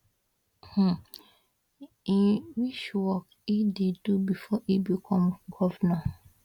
im which work e do before e become govnor